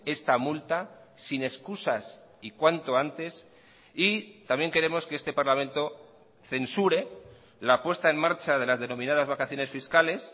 esta multa sin excusas y cuanto antes y también queremos que este parlamento censure la puesta en marcha de las denominadas vacaciones fiscales